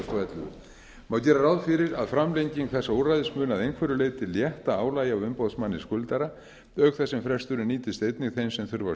og ellefu má gera ráð fyrir að framlenging þessa úrræðis muni að einhverju leyti létta álagi á umboðsmanni skuldara auk þess sem fresturinn nýtist efni þeim sem þurfa